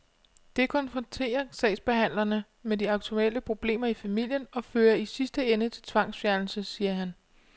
Det konfronterer sagsbehandlerne med de aktuelle problemer i familien og fører i sidste ende til tvangsfjernelse, siger han.